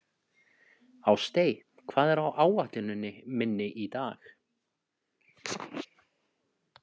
Ástey, hvað er á áætluninni minni í dag?